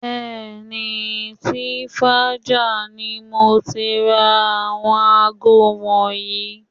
Bẹ́ẹ̀ni, Twinsfaja ni mo ti ra àwọn aago wọ̀nyí